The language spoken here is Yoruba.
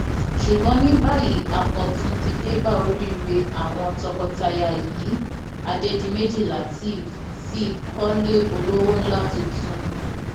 ṣùgbọn ní báyìí àkọtun ti dé bá oríire àwọn tọkọtaya yìí adédìméjì látẹẹf ti kọlé olówó ńlá tuntun